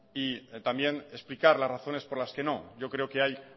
y también explicar las razones por las que no yo creo que hay